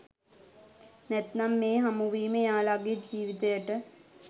නැත්නම් මේ හමුවීම එයාලගේ ජීවිතයට